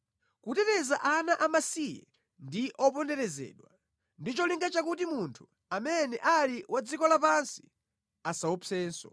Kuteteza ana amasiye ndi oponderezedwa, ndi cholinga chakuti munthu amene ali wa dziko lapansi asaopsenso.